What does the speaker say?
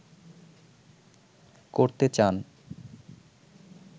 করতে চান